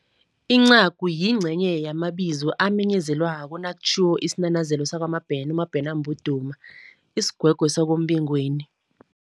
Incagu yincenye yamabizo amenyezelwako nakutjhiwo isinanazelo sakwaMabhena, uMabhena, isigwegwe sakombingweni.